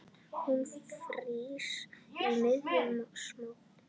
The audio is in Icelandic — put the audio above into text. Hún frýs í miðjum smók.